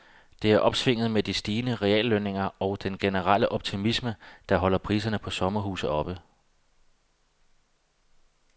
Det er opsvinget med de stigende reallønninger og den generelle optimisme, der holder priserne på sommerhuse oppe.